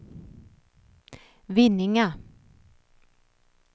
Vinninga